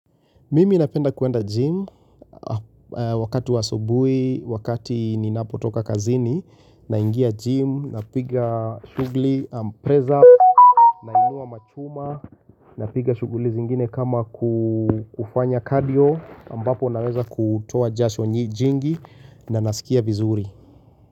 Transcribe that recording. Mimi napenda kuenda gym wakati wa asubuhi wakati ninapotoka kazini naingia gym napiga shughuli, press up, nainua machuma, napiga shughuli zingine kama kufanya cardio, ambapo naweza kutoa jasho jingi na nasikia vizuri.